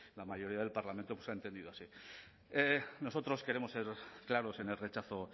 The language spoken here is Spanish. la mayoría del parlamento ha entendido así nosotros queremos ser claros en el rechazo